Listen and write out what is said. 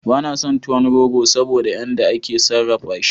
Bana son tuwon rogo saboda yan da ake sarrafa shi